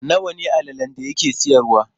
Nawa ne allalen da yake siyarwa?